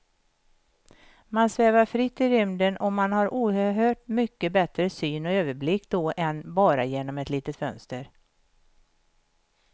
Man svävar fritt i rymden och man har oerhört mycket bättre syn och överblick då än bara genom ett litet fönster.